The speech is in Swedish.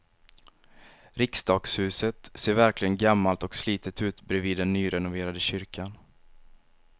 Riksdagshuset ser verkligen gammalt och slitet ut bredvid den nyrenoverade kyrkan.